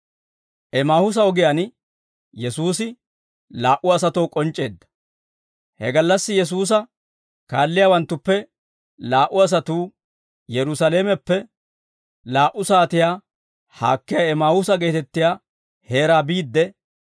He gallassi Yesuusa kaalliyaawanttuppe laa"u asatuu Yerusaalameppe laa"u saatiyaa haakkiyaa Emaahuusa geetettiyaa heeraa biidde;